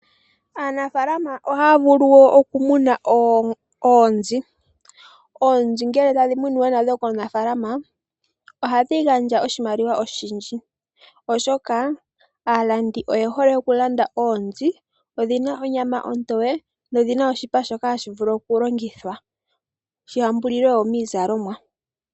Aanafaalama ohaa vulu wo okumuna oonzi. Oonzi ngele tadhi munwa nadho komunafaalama, ohadhi gandja oshimaliwa oshindji, oshoka aalandi oye hole okulanda oonzi, odhi na onyama ontoye, nodhi na oshipa shoka hashi vulu okulongithwa shi yambulilwe wo miizalomwa.